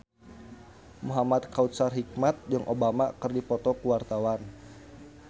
Muhamad Kautsar Hikmat jeung Obama keur dipoto ku wartawan